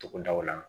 Togodaw la